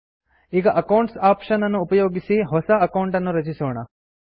ಈಗ accounts option ಅನ್ನು ಉಪಯೋಗಿಸಿ ಹೊಸ ಅಕೌಂಟ್ ಅನ್ನು ರಚಿಸೋಣ